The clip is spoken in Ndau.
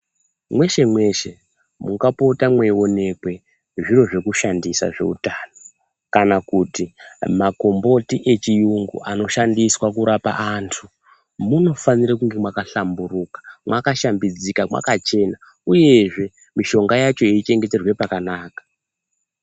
Mweshe mweshe mungapota mweionekwe zviro zvekushandisa zveutano kana kut makomboti echiyungu anoshandiswa kurapa andu munofanira kunge makashamburuka, makashambidzika, makachena uyezve mishonga yacho yeichengeterwe pakanaka.